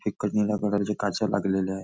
एकच निळ्या कलर च्या काचा लागलेल्या आहे.